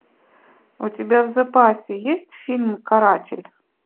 у тебя в запасе есть фильм каратель